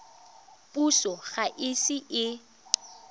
puso ga e ise e